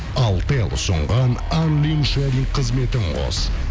алтел ұсынған қызметін қос